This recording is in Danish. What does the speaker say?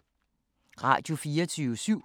Radio24syv